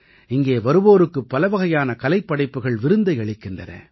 இங்கே வருவோருக்குப் பலவகையான கலைப்படைப்புகள் விருந்தை அளிக்கின்றன